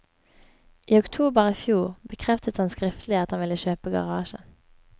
I oktober i fjor bekreftet han skriftlig at han ville kjøpe garasjen.